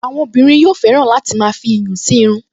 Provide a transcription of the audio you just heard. Àwọn obìnrin yóò fẹ́ràn láti máa fi iyùn sí irun